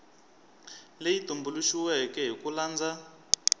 leyi tumbuluxiweke hi ku landza